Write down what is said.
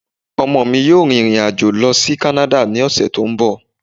Ọmọ mi yóò rìrìn àjò lọ sí Kánádà ní ọ̀sẹ̀ tó ń bọ̀